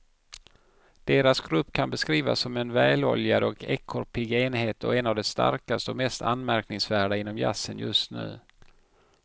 Deras grupp kan beskrivas som en väloljad och ekorrpigg enhet och en av de starkaste och mest anmärkningsvärda inom jazzen just nu.